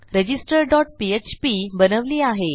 register dot PHP बनवली आहे